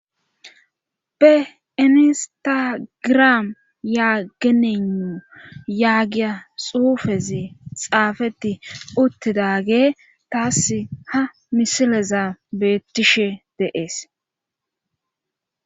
Beinistagiram yaagenun yaagiya xuufezi xaafeti uttidage taass ha misileza beettishshe de'ees